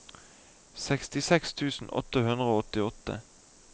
sekstiseks tusen åtte hundre og åttiåtte